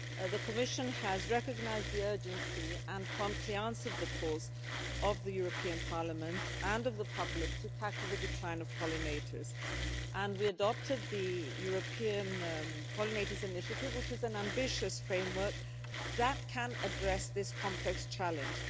The Commission has recognised the urgency and promptly answered the calls of the European Parliament and of the public to tackle the decline of pollinators, and we adopted the European Pollinators initiative, which is an ambitious framework that can address this complex challenge.